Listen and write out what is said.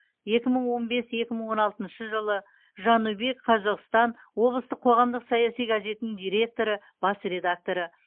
екі мың он бес екі мың он алтыншы жылы жанубий қазоғстан облыстық қоғамдық саяси газетінің директоры бас редакторы